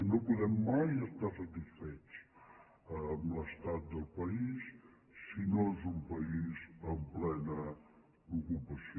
no podem mai estar satisfets amb l’estat del país sinó és un país amb plena ocupació